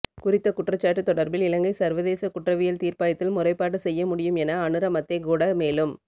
குறித்த குற்றச்சாட்டு தொடர்பில் இலங்கை சர்வதேச குற்றவியல் தீர்ப்பாயத்தில் முறைப்பாடு செய்ய முடியும் என அநுர மத்தேகொட மேலும்